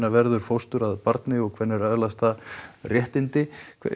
verður fóstur að barni hvenær öðlast það réttindi